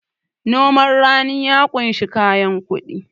noman rani ya kunshi kayan kudi